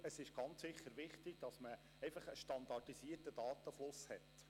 Es ist ganz sicher wichtig, einen standardisierten Datenfluss zu haben.